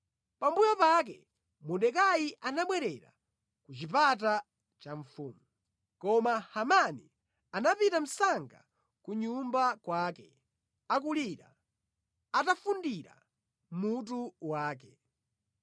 Pambuyo pake Mordekai anabwerera ku chipata cha mfumu. Koma Hamani anapita msanga ku nyumba kwake, akulira, atafundira mutu wake.